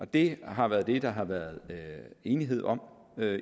det har været det der har været enighed om